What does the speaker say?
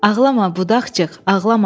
Ağlama budaqçıq, ağlama.